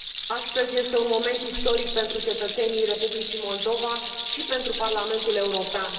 Astăzi este un moment istoric pentru cetățenii Republicii Moldova și pentru Parlamentul European.